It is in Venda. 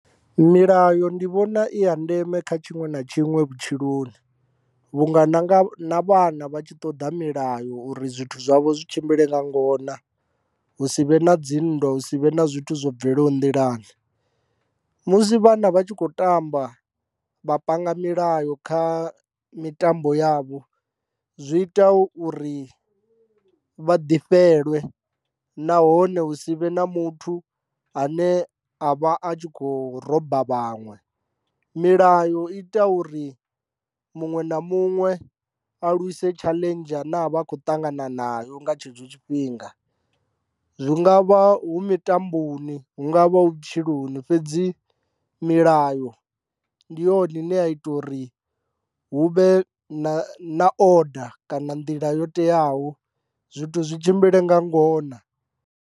Milayo ndi vhona i ya ndeme kha tshiṅwe na tshiṅwe vhutshiloni vhunga na nga vhana vha tshi ṱoḓa milayo uri zwithu zwavho zwi tshimbile nga ngona hu si vhe na dzinndwa hu si vhe na zwithu zwo bvelaho nḓilani, musi vhana vha tshi khou tamba vha panga milayo kha mitambo yavho zwi ita uri vha ḓifhelwe nahone hu si vhe na muthu ane a vha a tshi kho roba vhaṅwe, milayo ita uri muṅwe na muṅwe a lwise tshaḽenzhi ine a vha a kho ṱangana nayo nga tshetsho tshifhinga zwi nga vha hu mitamboni hu nga vha hu vhutshiloni fhedzi milayo ndi yone ine ya ita uri hu vhe na oda kana nḓila yo teaho zwithu zwi tshimbile nga ngona.